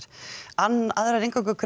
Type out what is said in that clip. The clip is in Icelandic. aðrar